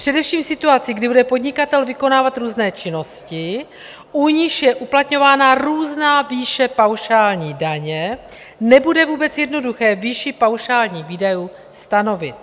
Především v situaci, kdy bude podnikatel vykonávat různé činnosti, u nichž je uplatňována různá výše paušální daně, nebude vůbec jednoduché výši paušálních výdajů stanovit.